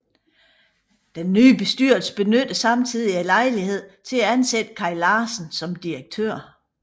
Den nye bestyrelse benyttede samtidig lejligheden til at ansætte Kaj Larsen som direktør